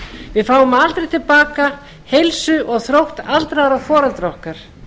við fáum aldrei til baka heilsu og þrótt aldraðra foreldra okkar